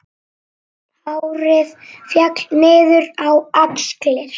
Hárið féll niður á axlir.